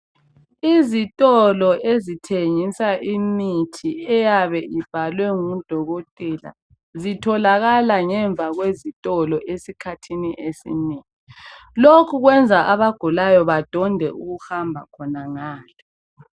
Izitolo ezithengisa imithi eyabe ibhalwe ngudokotela zitholakala ngemva kwezitolo esikhathini esinengi. Lokhu kwenza abagulayo badonde ukuhamba khonangale.